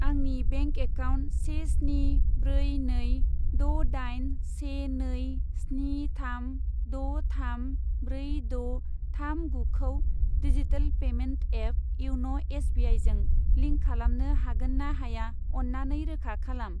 आंनि bank account से स्नि ब्रै नै द' दाइन से नै स्नि थाम द' थाम ब्रै द' थाम गुखौ डिजिटेल पेमेन्ट एप इयन' एस बिआइजों लिंक खालामनो हागोन ना हाया अन्नानै रोखा खालाम।